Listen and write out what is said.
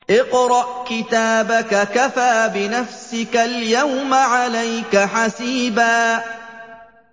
اقْرَأْ كِتَابَكَ كَفَىٰ بِنَفْسِكَ الْيَوْمَ عَلَيْكَ حَسِيبًا